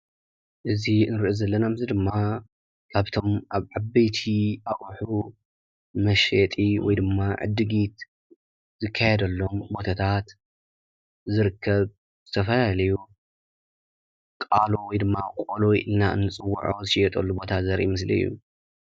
እዚ ንሪኦ ዘለና ምስሊ ድማ ካብቶም ኣብ ዓበይቲ ኣቁሑት መሽጢ ወይ ድማ ዕድጊት ዝካየድሎም ቦታታት ዝርከብ ዝተፈላለዩ ቃሎ ወይ ድማ ቆሎ ኢልና ንፅዎዖ ዝሽየጠሉ ቦታ ዘሪኢ ምስሊ እዩ።